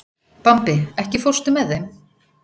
Bambi, ekki fórstu með þeim?